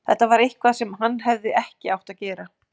Þetta var eitthvað sem hann hefði ekki átt að gera.